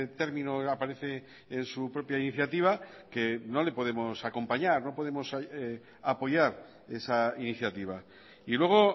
término aparece en su propia iniciativa que no le podemos acompañar no podemos apoyar esa iniciativa y luego